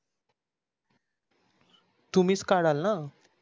तुम्हीच काढाल न.